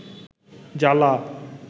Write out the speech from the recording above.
জ্বালা